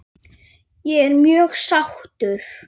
Ég er mjög sáttur.